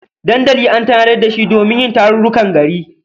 Dandali an tanadar da shi domin yin tarurrukan gari.